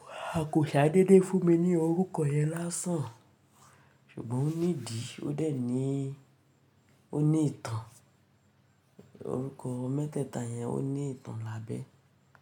Wá, a kò ṣe á dédé fún mi ní orúkọ yẹn lásán. Ṣùgbọ́n ó ní ìdí, ó dẹ̀ ní, ó ní ìtàn. Orúkọ mẹ́tẹ́ẹ̀ta yẹn ó ní ìtàn lábẹ́.